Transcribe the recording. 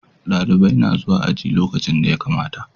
Dalibai na zuwa aji lokacin da ya kamata